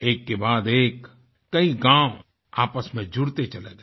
एककेबाद एक कई गाँव आपस में जुड़ते चले गए